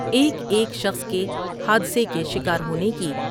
ایک ایک شخص کے حادثے کے شکار ہونے کی